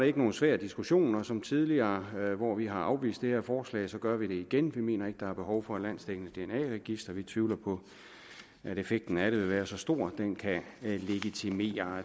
ikke nogen svær diskussion og som tidligere hvor vi har afvist det her forslag gør vi det igen vi mener ikke at der er behov for et landsdækkende dna register vi tvivler på at effekten af det vil være så stor at den kan legitimere